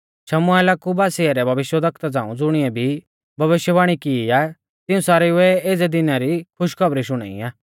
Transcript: शमुएला कु बासिऐ रै भविष्यवक्ता झ़ांऊ ज़ुणिऐ भी भविष्यवाणी की आ तिऊं सारेउऐ एज़ै दिना री खुशखौबरी शुणाई आ